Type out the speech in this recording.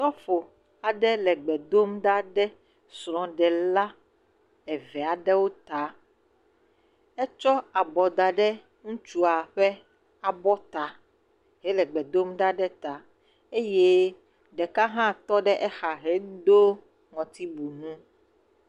Sɔfo aɖe le gbe dom ɖa ɖe srɔ̃ɖela aɖewo ta, etsɔ abɔ da ɖe ŋutsua ƒe abɔ ta hele gbe dom ɖa ɖe eta eye ɖeka hã tɔ ɖe exa hedo ŋɔtiwui he.